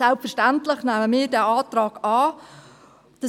Selbstverständlich nehmen wir diesen Antrag an.